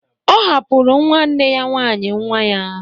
Ọ hapụrụ nwanne ya nwaanyị nwa ya.